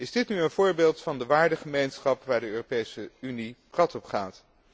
Is dit nu een voorbeeld van de waardengemeenschap waar de Europese Unie prat op gaat?